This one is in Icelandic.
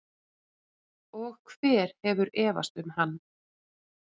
Og hver hefur efast um hann?